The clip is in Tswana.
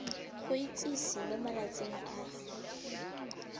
go itsise mo malatsing a